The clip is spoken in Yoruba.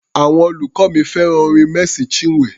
Àwọn olùkọ́ mi fẹ́ràn orin Mercy Chinwe.